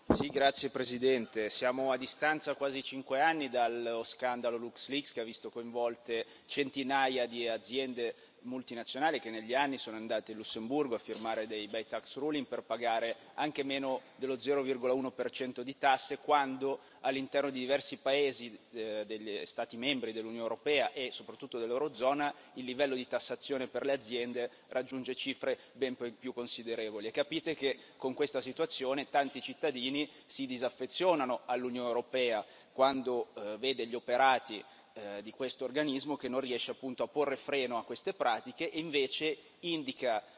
Signor Presidente, onorevoli colleghi, siamo a quasi cinque anni di distanza dallo scandalo che ha visto coinvolte centinaia di aziende multinazionali che negli anni sono andate in Lussemburgo a firmare dei bei per pagare anche meno dello 0,1 per cento di tasse quando, all'interno di diversi Stati membri dell'Unione europea, e soprattutto dell'eurozona, il livello di tassazione per le aziende raggiunge cifre ben più considerevoli. Capite che con questa situazione tanti cittadini si disaffezionano all'Unione europea, quando vedono gli operati di questo organismo, che non riesce appunto a porre freno a queste pratiche e invece indica